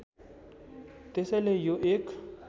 त्यसैले यो एक